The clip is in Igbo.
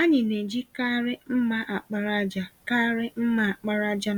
Anyị na-eji karị mma àkpàràjà karị mma àkpàràjà